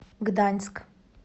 гданьск